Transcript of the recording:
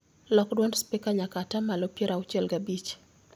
Lok dwond spika nyaka atamalo piero auchiel gi abich